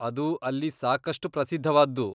ಅದು ಅಲ್ಲಿ ಸಾಕಷ್ಟ್ ಪ್ರಸಿದ್ಧವಾದ್ದು.